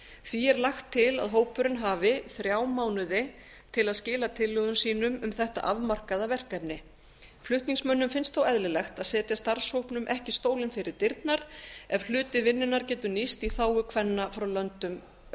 því er lagt til að hópurinn hafi þrjá mánuði til að skila tillögum sínum um þetta afmarkaða verkefni flutningsmönnum finnst þó eðlilegt að setja starfshópnum ekki stólinn fyrir dyrnar ef hluti vinnunnar getur nýst í þágu kvenna frá löndum